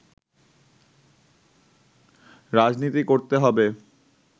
রাজনীতি করতে হবে